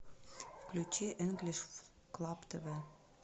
включи энглиш клаб тв